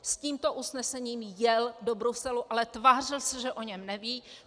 S tímto usnesením jel do Bruselu, ale tvářil se, že o něm neví.